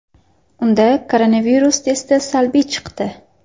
Unda koronavirus testi salbiy chiqdi.